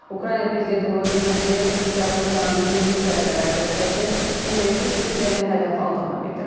Ukrayna prezidenti Vladimir Zelenski isə Rusiyanın yeni zərbələrdə ölkəsinin enerji sistemini hədəf aldığını bildirib.